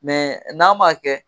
Mɛ n'a m'a kɛ